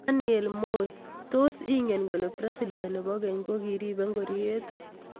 Daniel Moi:Tos ingen kole presdent nebo ngeny ko kiribe ngororiet?